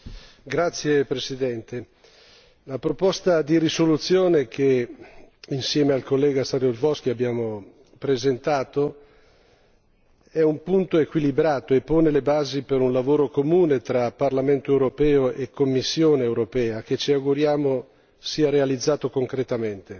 Signora Presidente, onorevoli colleghi, la proposta di risoluzione che, insieme all'onorevole Saryusz Wolski abbiamo presentato, è un punto equilibrato e pone le basi per un lavoro comune tra Parlamento europeo e Commissione europea che ci auguriamo sia realizzato concretamente